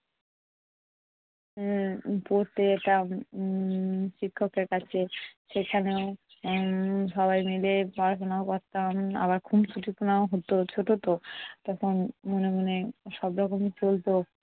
উম পড়তে যেতাম উম শিক্ষকের কাছে সেখানেও উম সবাই মিলে পড়াশোনাও করতাম। আবার খুঁনসুটিপনাও হতো, ছোট তো তখন মনে মনে সব রকম চলতো।